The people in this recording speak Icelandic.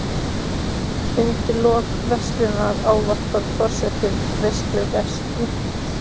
Undir lok veislunnar ávarpar forseti veislugesti.